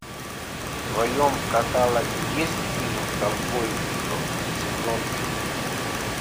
в твоем каталоге есть фильм ковбой бибоп сезон три